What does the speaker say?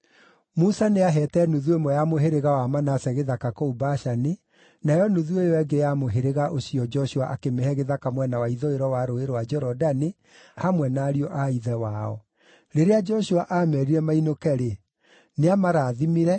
(Musa nĩaheete nuthu ĩmwe ya mũhĩrĩga wa Manase gĩthaka kũu Bashani, nayo nuthu ĩyo ĩngĩ ya mũhĩrĩga ũcio Joshua akĩmĩhe gĩthaka mwena wa ithũĩro wa Rũũĩ rwa Jorodani hamwe na ariũ a ithe wao.) Rĩrĩa Joshua aameerire mainũke-rĩ, nĩamarathimire,